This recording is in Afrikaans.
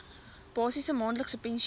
basiese maandelikse pensioen